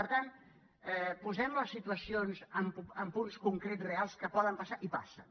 per tant posem les situacions en punts concrets reals que poden passar i passen